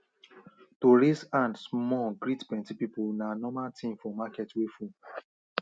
to raise hand small greet plenty people na normal thing for market wey full